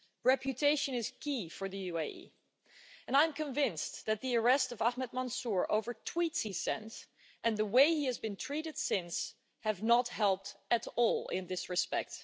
Reputation is key for the UAE and I'm convinced that the arrest of Ahmed Mansoor, over tweets he sent, and the way he has been treated since, have not helped at all in this respect.